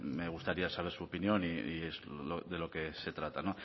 me gustaría saber su opinión y es lo de lo que se trata